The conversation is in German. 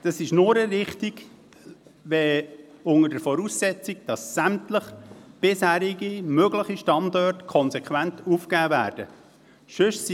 Es ist nur richtig unter der Voraussetzung, dass sämtliche bisherigen möglichen Standorte konsequent aufgegeben werden.